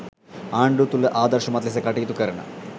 ආණ්ඩුව තුළ ආදර්ශමත් ලෙස කටයුතු කරන